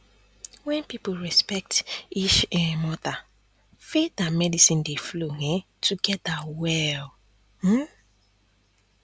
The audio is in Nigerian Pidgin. when people respect each um other faith and medicine dey flow um together well um